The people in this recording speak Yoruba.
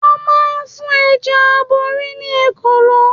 Wón máa ń fún Ẹja Aborí ní Ekòló.